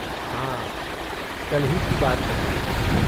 हाँ, कल ही की बात लगती है।